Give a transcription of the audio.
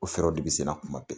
O fɛɛrɛ de bi sen na kuma bɛɛ.